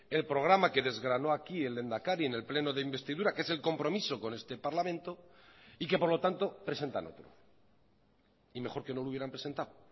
el programa que desgranó aquí el lehendakari en el pleno de investidura que es el compromiso con este parlamento y que por lo tanto presentan otro y mejor que no lo hubieran presentado